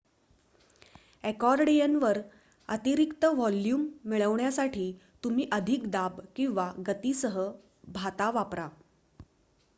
अकॉर्डियनवर अतिरिक्त व्हॉल्यूम मिळविण्यासाठी तुम्ही अधिक दाब किंवा गतीसह भाता वापरा